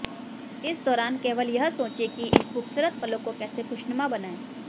इस दौरान केवल यह सोचें कि इन खूबसूरत पलों को कैसे खुशनुमा बनाएं